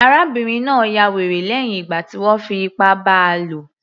Arábìnrin náà ya wèrè lẹ́hìn ìgbà tí wọ́n fi ipá bá a lò